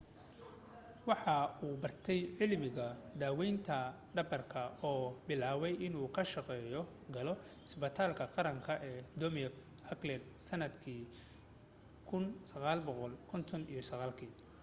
waxa uu bartay cilmiga daawaynta dhabarka oo bilaabay inuu ka shaqo galo cusbitaalka qaranka ee dumarka auckland sannadkii 1959